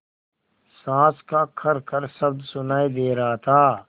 साँस का खरखर शब्द सुनाई दे रहा था